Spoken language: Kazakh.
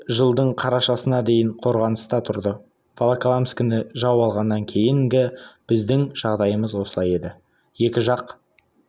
немістер жылдың қарашасына дейін қорғаныста тұрды волоколамскіні жау алғаннан кейінгі біздің жағдайымыз осылай еді екі жақ